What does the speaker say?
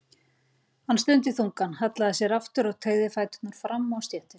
Hann stundi þungan, hallaði sér aftur og teygði fæturna fram á stéttina.